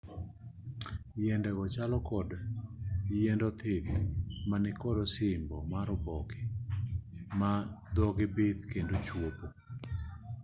yiende go chalo kod yiend othith ma nikod osimbo mar oboke ma dhogi bith kendo chwopo